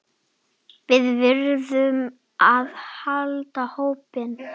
Við verðum að halda hópinn!